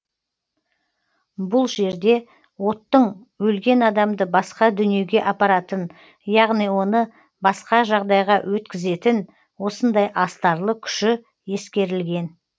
бұл жерде оттың өлген адамды басқа дүниеге апаратын яғни оны басқа жағдайға өткізетін осындай астарлы күші ескерілген